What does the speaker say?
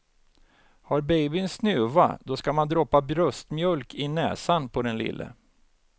Har babyn snuva, då ska man droppa bröstmjölk i näsan på den lille.